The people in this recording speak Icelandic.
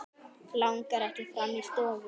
Langar ekki fram í stofu.